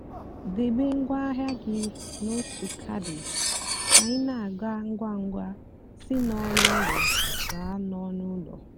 débé ngwa áhịa gị n'ótú caddy kà ị nà-àga ngwa ngwa sị n'ónú úló gáá n'ónú úló.